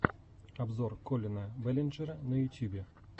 обзор коллина бэллинджера на ютьюбе